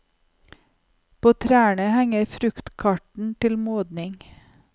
På trærne henger fruktkarten til modning.